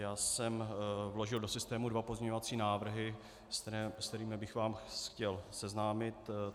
Já jsem vložil do systému dva pozměňovací návrhy, se kterými bych vás chtěl seznámit.